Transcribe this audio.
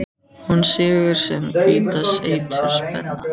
Hún sýgur sinn hvíta eitur spena.